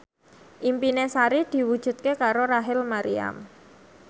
impine Sari diwujudke karo Rachel Maryam